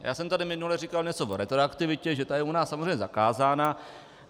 Já jsem tady minule říkal něco o retroaktivitě, že ta je u nás samozřejmě zakázána.